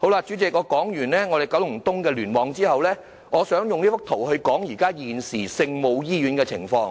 主席，說完九龍東聯網的情況後，我想用另一幅圖談談現時聖母醫院的情況。